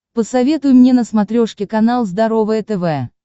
посоветуй мне на смотрешке канал здоровое тв